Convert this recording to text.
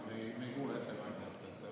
Me ei kuule ettekandjat.